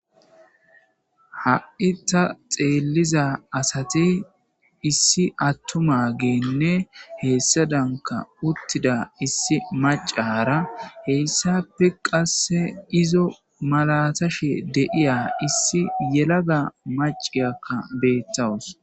Ha7i ta xeeliza asati issi attumanne hessadan issi hedzdzu maccara hessape qasse izo malaatashe deiyo yelaga macciya dawus.